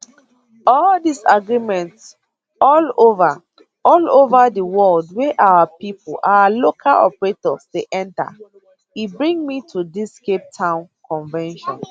all dis agreement all ova all ova di world wey our pipo our local operators dey enta e bring me to dis capetown convention